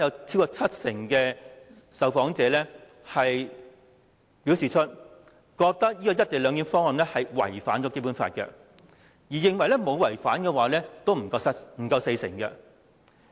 超過七成受訪者認為，"一地兩檢"方案違反《基本法》；認為沒有違反的人只有不足四成。